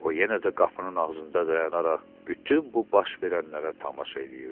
O yenə də qapının ağzında dayanaraq bütün bu baş verənlərə tamaşa eləyirdi.